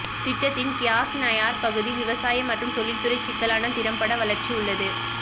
திட்டத்தின் க்ர்யாஸ்நயார் பகுதி விவசாய மற்றும் தொழில்துறை சிக்கலான திறம்பட வளர்ச்சி உள்ளது